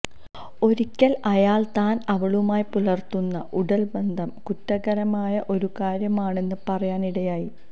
ഒരിക്കല് അയാള് താന് അവളുമായി പുലര്ത്തുന്ന ഉടല് ബന്ധം കുറ്റകരമായ ഒരു കാര്യമാണെന്ന് പറയാന് ഇടയായി